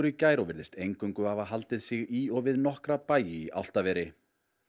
í gær og virðist hafa haldið sig í og við nokkra bæi í Álftaveri